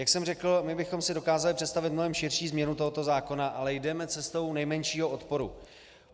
Jak jsem řekl, my bychom si dokázali představit mnohem širší změnu tohoto zákona, ale jdeme cestou nejmenšího odporu.